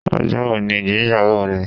Ọjọ́ wo ni ìgbéyàwó rẹ?